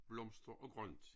Blomster og grønt